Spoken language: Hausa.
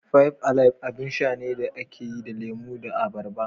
Five Alive abin sha ne da aka yi da lemo da abarba.